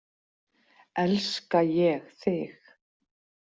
Elska ég þig?